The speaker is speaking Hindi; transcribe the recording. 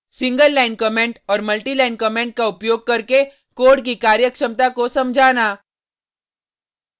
सिंगल लाइन कमेंट और मल्टि लाइन कमेंट का उपयोग करके कोड की कार्यक्षमता को समझाना